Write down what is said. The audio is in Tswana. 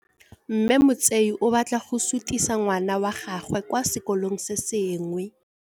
Mme Motsei o batla go sutisa ngwana wa gagwe kwa sekolong se sengwe.